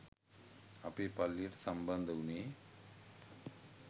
අපේ පල්ලියට සම්බන්ධ උනේ